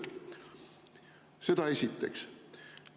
Seda esiteks.